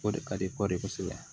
O de ka di kɔɔri kosɛbɛ